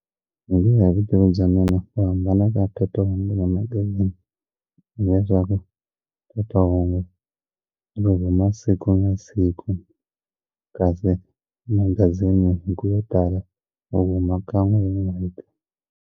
Hikuya hi vutivi bya mina ku hambana ka teto hambi hi le leswaku phephahungu ri huma siku na siku kasi magazini hi ku tala u huma kan'we hi n'hweti.